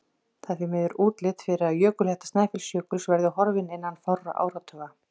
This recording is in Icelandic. Það er því miður útlit fyrir að jökulhetta Snæfellsjökuls verði horfin innan fárra áratuga.